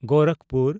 Gorakhpur